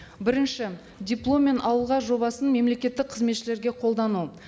бірінші дипломмен ауылға жобасын мемлекеттік қызметшілерге қолдану